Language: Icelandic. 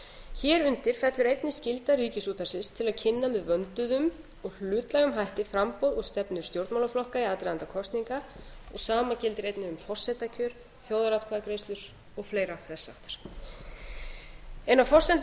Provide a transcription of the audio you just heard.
hér undir fellur einnig skylda ríkisútvarpsins ætti að kynna með vönduðum og hlutlægum hætti framboð og stefnu stjórnmálaflokka í aðdraganda kosninga og sama gildir einnig um forsetakjör þjóðaratkvæðagreiðslur og fleira þess háttar ein af forsendum